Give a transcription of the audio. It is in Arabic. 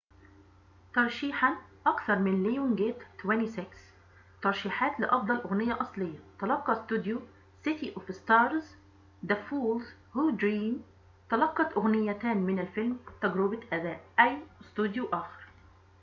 تلقت أغنيتان من الفيلم، تجربة أداء the fools who dream وcity of stars، ترشيحات لأفضل أغنية أصلية. تلقى استوديو lionsgate 26 ترشيحًا — أكثر من أي استوديو آخر